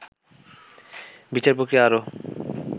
বিচারপ্রক্রিয়া আরও